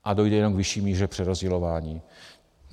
A dojde jenom k vyšší míře přerozdělování.